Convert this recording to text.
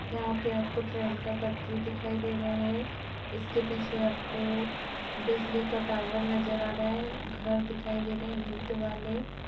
यहाँ पे आपको ट्रेन का पटरी दिखाई दे रहा है इसके पीछे आपको बिजली का टावर नजर आ रहा है घर दिखाई दे रहे है। ईट वाले--